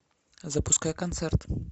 запускай концерт